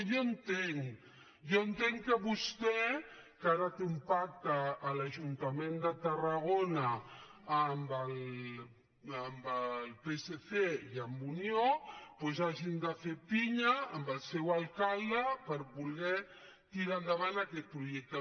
jo entenc que vostè que ara té un pacte a l’ajuntament de tarragona amb el psc i amb unió hagi de fer pinya amb el seu alcalde perquè volen tirar endavant aquest projecte